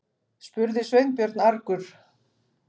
spurði Sveinbjörn argur.